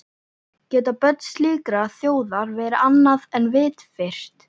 Geta börn slíkrar þjóðar verið annað en vitfirrt?